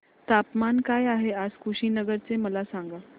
तापमान काय आहे आज कुशीनगर चे मला सांगा